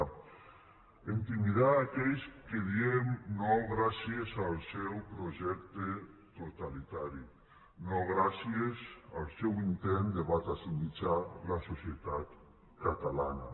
a intimidar aquells que diem no gràcies al seu projecte totalitari no gràcies al seu intent de batasunitzar la societat catalana